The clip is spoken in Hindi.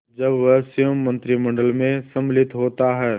जब वह स्वयं मंत्रिमंडल में सम्मिलित होता है